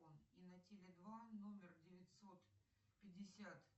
и на теле два номер девятьсот пятьдесят